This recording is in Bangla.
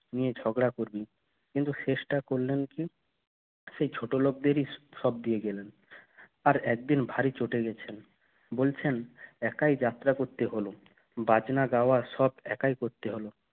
নিয়ে ঝগড়া করবে কিন্তু শেষটা করলে কি সেই ছোট লোকদেরই সব দিয়ে গেলেন আর একদিন ভারী চটে গেছিলেন বলছেন একাই যাত্রা করতে হলো বাজনা গাওয়া সব একাই করতে হলো